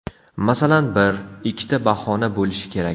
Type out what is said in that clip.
Masalan, bir, ikkita bahona bo‘lishi kerak.